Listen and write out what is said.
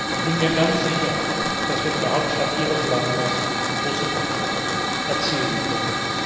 Ich bin mir ganz sicher, dass wir in der Hauptstadt Ihres Landes große Fortschritte erzielen können.